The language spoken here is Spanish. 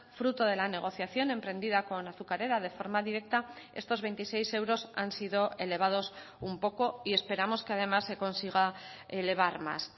fruto de la negociación emprendida con azucarera de forma directa estos veintiséis euros han sido elevados un poco y esperamos que además se consiga elevar más